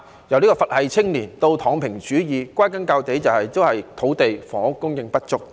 由"佛系青年"直至"躺平主義"，歸根究底，都是土地、房屋供應不足所致。